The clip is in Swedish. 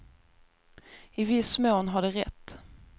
I viss mån har de rätt.